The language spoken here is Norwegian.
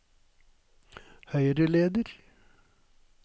høyreleder